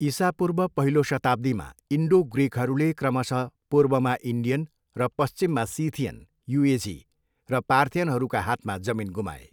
इसापूर्व पहिलो शताब्दीमा, इन्डो ग्रिकहरूले क्रमशः पूर्वमा इन्डियन र पश्चिममा सिथियन, युएझी र पार्थियनहरूका हातमा जमिन गुमाए।